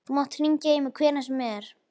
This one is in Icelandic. Þú mátt hringja í mig hvenær sem er.